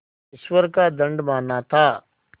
ईश्वर का दंड माना था